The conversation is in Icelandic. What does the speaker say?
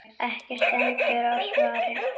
Ekki stendur á svari.